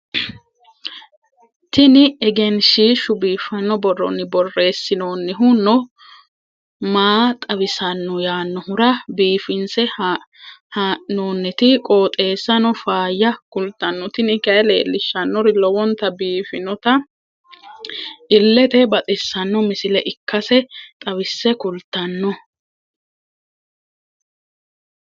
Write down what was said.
tiniegenshshiishu biiffanno borronni borreessinoonnihu no maa xawissanno yaannohura biifinse haa'noonniti qooxeessano faayya kultanno tini kayi leellishshannori lowonta biiffinota illete baxissanno misile ikkase xawisse kultanno.